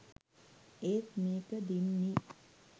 ඒත් මේක දින්නේ